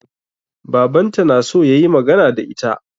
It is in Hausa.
Babanta na so ya yi magana da ita.